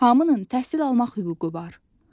Hamının təhsil almaq hüququ var.